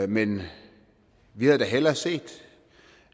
men vi havde hellere set